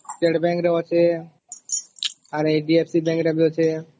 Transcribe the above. State Bank ରେ ଅଛେ ଆର HDFC Bank ରେ ବି ଅଛେ